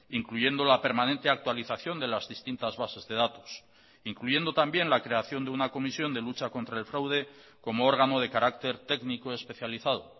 incluyendo la permanente actualización de las distintas bases de datos incluyendo también la creación de una comisión de lucha contra el fraude como órgano de carácter técnico especializado